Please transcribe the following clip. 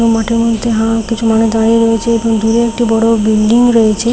মাঠের মধ্যে হা কিছু মানুষ দাঁড়িয়ে রয়েছে এবং দূরে একটি বড় বিল্ডিং রয়েছে।